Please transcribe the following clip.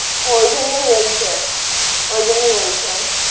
ও ওই জন্যই বলছে। ওই জন্যই বলছে।